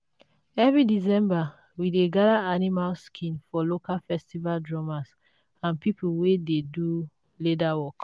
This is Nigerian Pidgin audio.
every december we dey gather animal skin for local festival drummers and people wey dey do leather work.